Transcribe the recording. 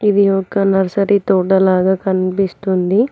ఇది ఒక నర్సరీ తోట లాగా కనిపిస్తుంది.